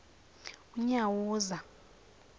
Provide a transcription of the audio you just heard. unyawuza